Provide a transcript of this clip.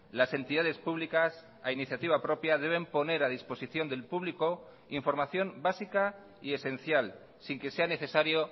las entidades públicas a iniciativa propia deben poner a disposición del público información básica y esencial sin que sea necesario